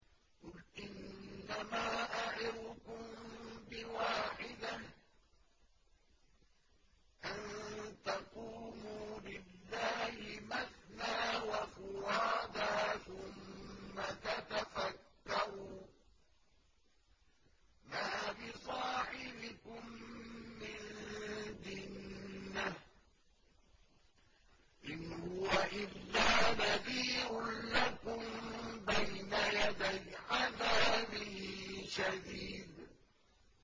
۞ قُلْ إِنَّمَا أَعِظُكُم بِوَاحِدَةٍ ۖ أَن تَقُومُوا لِلَّهِ مَثْنَىٰ وَفُرَادَىٰ ثُمَّ تَتَفَكَّرُوا ۚ مَا بِصَاحِبِكُم مِّن جِنَّةٍ ۚ إِنْ هُوَ إِلَّا نَذِيرٌ لَّكُم بَيْنَ يَدَيْ عَذَابٍ شَدِيدٍ